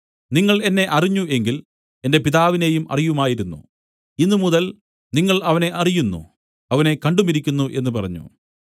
നിങ്ങൾ എന്നെ അറിഞ്ഞ് എങ്കിൽ എന്റെ പിതാവിനെയും അറിയുമായിരുന്നു ഇന്നുമുതൽ നിങ്ങൾ അവനെ അറിയുന്നു അവനെ കണ്ടുമിരിക്കുന്നു എന്നു പറഞ്ഞു